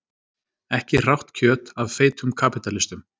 Ekki hrátt kjöt af feitum kapítalistum.